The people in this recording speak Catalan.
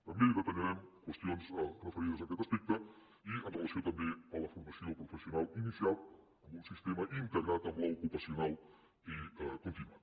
també detallarem qüestions referides a aquest aspecte i amb relació també a la formació professional inicial amb un sistema integrat amb l’ocupacional i contínua